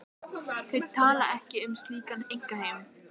Þau tala ekki um slíkan einkaheim.